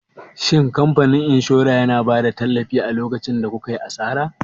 Shin kamfanin inshora yana bada tallafi a lokacin da kukayi asara?